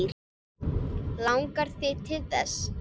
Langar þig til þess?